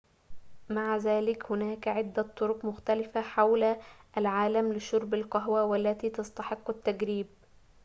مع ذلك هناك عدة طرق مختلفة حول العالم لشرب القهوة والتي تستحق التجريب